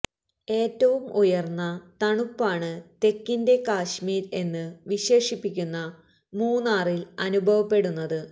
ഏറ്റവും ഉയര്ന്ന തണുപ്പാണ് തെക്കിന്റെ കശ്മീര് എന്ന് വിശേഷിപ്പിക്കുന്ന മൂന്നാറില് അനുഭവപ്പെടുന്നത്